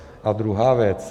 A druhá věc.